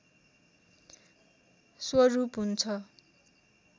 स्वरूप हुन्छ